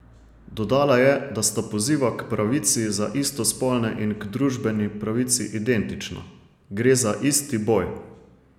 Dodala je, da sta poziva k pravici za istospolne in k družbeni pravici identična: "Gre za isti boj.